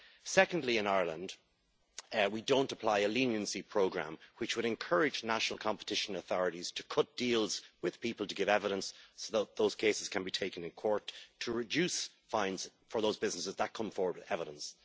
Secondly, in Ireland we do not apply a leniency programme, which would encourage national competition authorities to cut deals with people to give evidence so that those cases can be taken in court to reduce fines for those businesses that come forward with evidence.